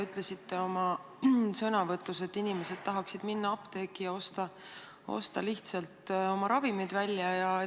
Ütlesite oma sõnavõtus, et inimesed tahavad minna apteeki ja osta lihtsalt oma ravimid välja.